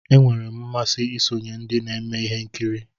Enwere m mmasị isonye ndị na-eme ihe nkiri.